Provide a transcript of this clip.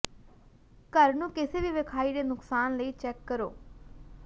ਘਰ ਨੂੰ ਕਿਸੇ ਵੀ ਵੇਖਾਈ ਦੇ ਨੁਕਸਾਨ ਲਈ ਚੈੱਕ ਕਰੋ